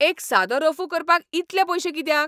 एक सादो रफू करपाक इतले पयशे कित्याक?